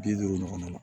Bi duuru ɲɔgɔn na